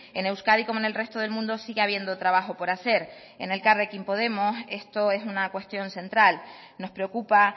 en euskadi como en el resto del mundo sigue habiendo trabajo por hacer en elkarrekin podemos esto es una cuestión central nos preocupa